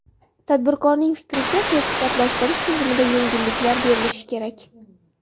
Tadbirkorning fikricha, sertifikatlashtirish tizimida yengilliklar berilishi kerak.